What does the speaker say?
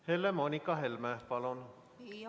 Helle-Moonika Helme, palun!